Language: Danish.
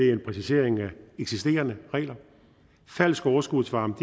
er en præcisering af eksisterende regler falsk overskudsvarme